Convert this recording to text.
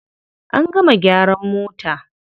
An gama gyaran mota.